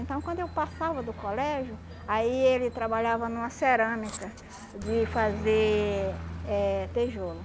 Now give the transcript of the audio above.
Então, quando eu passava do colégio, aí ele trabalhava numa cerâmica de fazer eh tijolo